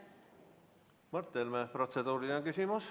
Mart Helme, protseduuriline küsimus.